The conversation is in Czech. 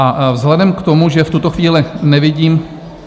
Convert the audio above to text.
A vzhledem k tomu, že v tuto chvíli nevidím...